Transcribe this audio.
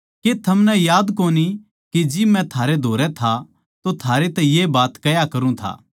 के थमनै याद कोनी के जिब मै थारै धोरै था तो थारै तै ये बात कह्या करूँ था